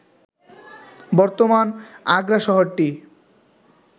বর্তমান আগ্রা শহরটি